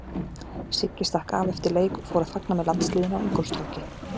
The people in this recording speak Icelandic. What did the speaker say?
Siggi stakk af eftir leik og fór að fagna með landsliðinu á Ingólfstorgi.